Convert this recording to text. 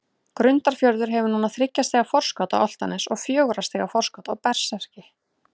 Grundarfjörður hefur núna þriggja stiga forskot á Álftanes og fjögurra stiga forskot á Berserki.